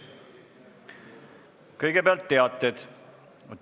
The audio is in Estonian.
Kõigepealt üks teade.